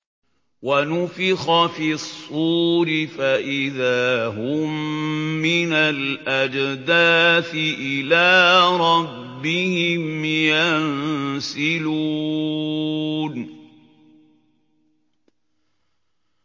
وَنُفِخَ فِي الصُّورِ فَإِذَا هُم مِّنَ الْأَجْدَاثِ إِلَىٰ رَبِّهِمْ يَنسِلُونَ